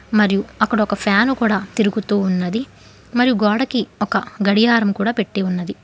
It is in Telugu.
మరియు అక్కడ ఒక ఫ్యాను కూడా తిరుగుతూ ఉన్నది మరియు గోడకి ఒక గడియారం కూడా పెట్టీ ఉన్నది.